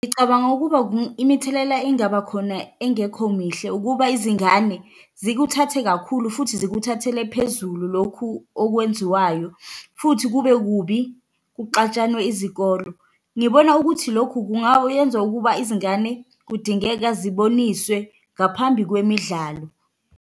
Ngicabanga ukuba imithelela engaba khona engekho mihle ukuba izingane zikuthathe kakhulu, futhi zikuthathele phezulu lokhu okwenziwayo, futhi kube kubi kuxatshwane izikolo, Ngibona ukuthi lokhu kungayenza ukuba izingane kudingeka ziboniswe ngaphambi kwemidlalo.